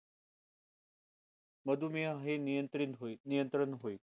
मधुमेह हे नियंत्रीत होईल नियंत्रण होईल